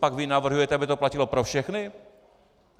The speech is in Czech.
Copak vy navrhujete, aby to platilo pro všechny?